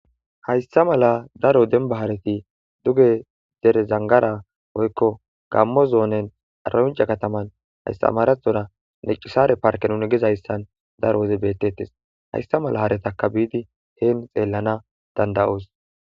Hayssa mala daro denba haareti duge derezangara oykko gammo zoonen aranca kataman haystamarathora necisare parke nun gizayssan daro oze beettettes hayssa mala haaretaka biidi heen xeellana danda'oos.